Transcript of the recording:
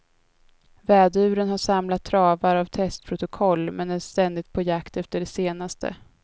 Väduren har samlat travar av testprotokoll men är ständigt på jakt efter det senaste.